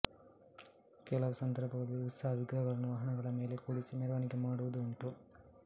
ಕೆಲವು ಸಂದರ್ಭಗಳಲ್ಲಿ ಉತ್ಸವ ವಿಗ್ರಹಗಳನ್ನು ವಾಹನಗಳ ಮೇಲೆ ಕೂಡಿಸಿ ಮೆರವಣಿಗೆ ಮಾಡುವುದೂ ಉಂಟು